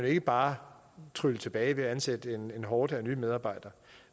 ikke bare trylle tilbage ved at ansætte en horde af nye medarbejdere